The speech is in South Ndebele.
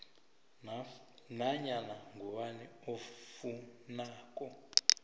nanyana ngubani ofuna